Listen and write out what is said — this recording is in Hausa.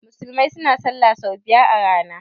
musulmai suna sallah sau biyar a rana